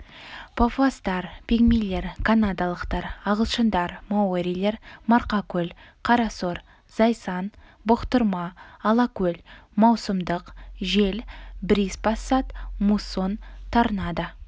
папуастар пигмейлер канадалықтар ағылшындар маорилер марқакөл қарасор зайсан бұқтырма алакөл маусымдық жел бриз пассат муссон торнадо